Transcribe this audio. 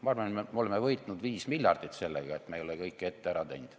Ma arvan, et me oleme võitnud viis miljardit sellega, et me ei ole kõike ette ära teinud.